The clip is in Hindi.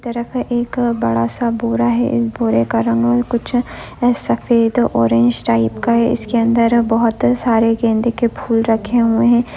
तरफ एक बड़ा सा बोरा है बोरे का रंग औ कुछ एस सफेद ऑरेंज टाइप का है इसके अंदर बहुत सारे गेंडे के फूल रखे हुए हैं।